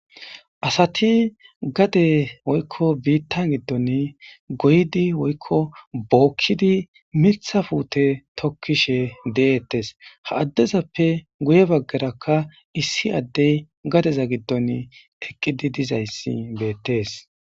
asati gade woykko biittan giddon goydi woykko bookkidi miitha puute tokkishe deettes ha addezappe guye baggarakka issi addey gadeza giddon eqqidi dizayssi beettees